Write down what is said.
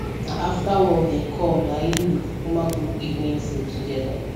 na after work dem com na im we kukuma cook evening food together